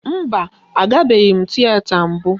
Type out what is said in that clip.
Mba, a gabeghi m tiyeta mbụ